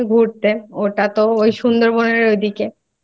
গিয়েছিলাম আমি ঘুরতে। ওটা তো ওই সুন্দরবনের ওদিকে